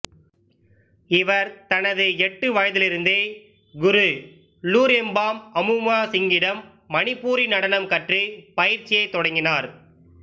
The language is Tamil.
இவர் தனது எட்டு வயதிலிருந்தே குரு லூரெம்பாம் அமுய்மா சிங்கிடம் மணிப்பூரி நடனம் கற்று பயிற்சியைத் தொடங்கினார்